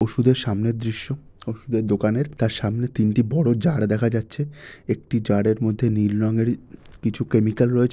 ওষুধের সামনের দৃশ্য। ওষুধের দোকানের তার সামনে তিনটে বড় যার দেখা যাচ্ছে। একটি জারের মধ্যে নীল রঙের কিছু কেমিক্যাল রয়েছে।